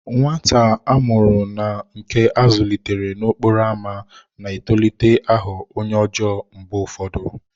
Nwata a mụrụ na nke a zụlitere n'okporo ámá na-etolite ịghọ onye ọjọọ mgbe ụfọdụ.